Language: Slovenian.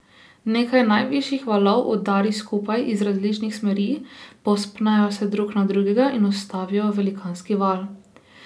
Nekaj najvišjih valov udari skupaj iz različnih smeri, povzpnejo se drug na drugega in ustvarijo velikanski val.